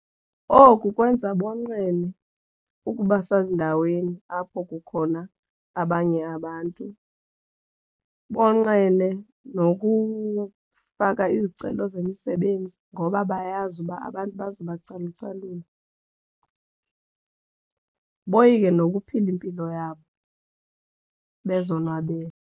Oku kwenza bonqene ukuba sezindaweni apho kukhona abanye abantu, bonqena nokufaka izicelo zemisebenzi ngoba bayazi uba abantu bazobacalucalula, boyike nokuphila impilo yabo bezonwabele.